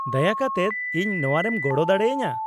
ᱼᱫᱟᱭᱟ ᱠᱟᱛᱮᱫ ᱤᱧ ᱱᱚᱶᱟᱨᱮᱢ ᱜᱚᱲᱚ ᱫᱟᱲᱮ ᱟᱹᱧᱟᱹ ?